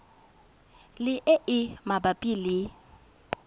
le e e mabapi le